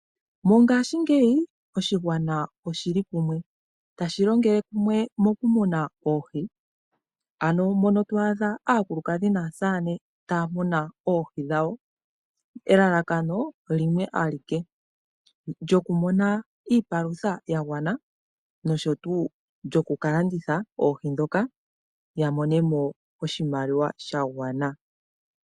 Mongashingeyi oshigwana oshili kumwe, tashi longele kumwe mokumuna oohi, ano mono to adha aakulukadhi naasaane taya muna oohi dhawo, elalakano limwe alike, lyokumuna iipalutha yagwana nosho tu lyokukalanditha oohi dhoka yamonemo oshimaliwa shagwana.